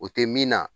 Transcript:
O tɛ min na